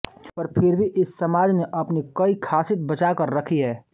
पर फिर भी इस समाज ने अपनी कई खासित बचा कर रखी है